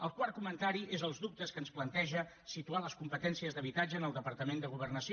el quart comentari és els dubtes que ens planteja situar les competències d’habitatge en el departament de governació